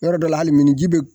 Yɔrɔ dɔŋ hali minni ji bɛ